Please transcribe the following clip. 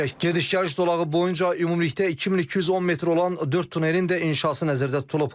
Gediş-gəliş zolağı boyunca ümumilikdə 2210 metr olan dörd tunelin də inşası nəzərdə tutulub.